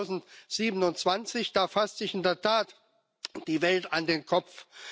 2027. Da fasst sich in der Tat die Welt an den Kopf.